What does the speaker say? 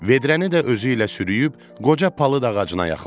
Vedrəni də özü ilə sürüyüb qoca palıd ağacına yaxınlaşdı.